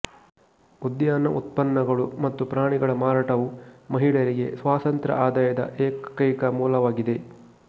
ಉದ್ಯಾನ ಉತ್ಪನ್ನಗಳು ಮತ್ತು ಪ್ರಾಣಿಗಳ ಮಾರಾಟವು ಮಹಿಳೆಯರಿಗೆ ಸ್ವತಂತ್ರಆದಾಯದ ಏಕೈಕ ಮೂಲವಾಗಿದೆ